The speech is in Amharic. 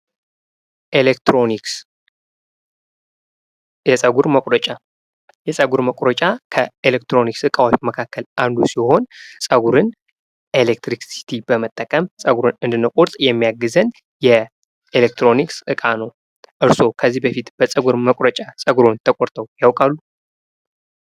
ኤሌክትሮኒክስ፡-የፀጉር መቁረጫ ከኤሌክትሮኒክስ እቃዎች መካከል አንዱ ሲሆን እሌክትሪክሲቲ በመጠቀም ፀጉርን ለመቁረጥ የሚያግዘን የኤሌክትሮኒክስ እቃ ነው። እርስዎ ከዚህ በፊት ፀጉርዎን በፀጉር መቁረጫ ተቆርጠው ያውቃሉ?